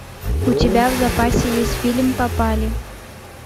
у тебя в запасе есть фильм попали